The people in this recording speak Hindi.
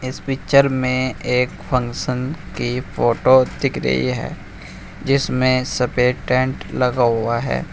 इस पिक्चर में एक फंक्शन की फोटो दिख रही है जिसमें सफेद टेंट लगा हुआ है।